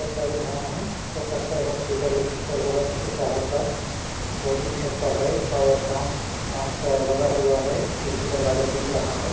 सरकारी भवन है हो सकता है हॉस्पिटल वुस्पिटल होगा किसी शहर का दो तीन छत का है और कांच-कांच का लगा हुआ है खिड़की दरवाजा दिख रहा है।